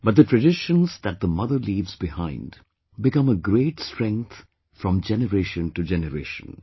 But the traditions that the mother leaves behind become a great strength from generation to generation